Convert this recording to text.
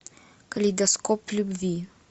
калейдоскоп любви